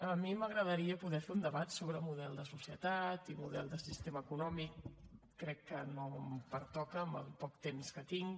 a mi m’agradaria poder fer un debat sobre model de societat i model de sistema econòmic crec que no em pertoca en el poc temps que tinc